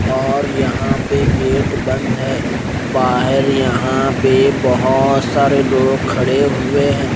और यहां पे गेट बंद हैं बाहर यहां पे बहोत सारे लोग खड़े हुए हैं।